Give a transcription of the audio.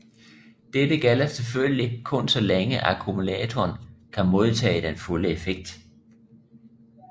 Dette gælder selvfølgelig kun så længe akkumulatoren kan modtage den fulde effekt